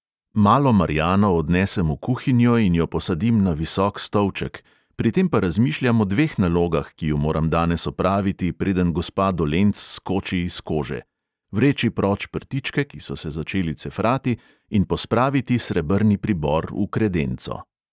Malo marjano odnesem v kuhinjo in jo posadim na visok stolček, pri tem pa razmišljam o dveh nalogah, ki ju moram danes opraviti, preden gospa dolenc skoči iz kože: vreči proč prtičke, ki so se začeli cefrati, in pospraviti srebrni pribor v kredenco.